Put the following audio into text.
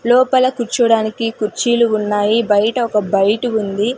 లోపల కూర్చోడానికి కుర్చీలు ఉన్నాయి బయట ఒక బైట్ ఉంది.